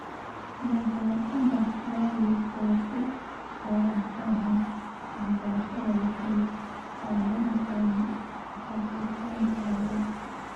Dabeecadaha waalid ee ku wajahan waxbarashada waxay qaabayn kartaa rabitaanka carruurta.